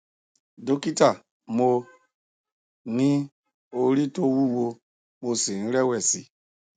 dókítà mo ní orí tó wúwo mo sì ń rẹwẹsì